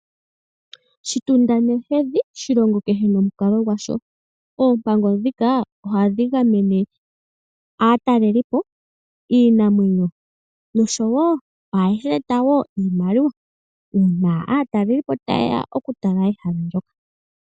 Shitunda nohedhi shilongo kehe nomukalo gwasho . Oompango ndhika ohadhi gamene aatalelipo yiinamwenyo. Ohashi eta woo niimaliwa uuna aatalelipo tayeya oku tala ehala ndoka.